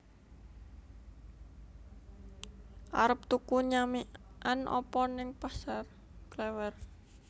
Arep tuku nyamikan opo ning Pasar Klewer?